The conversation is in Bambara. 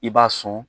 I b'a sɔn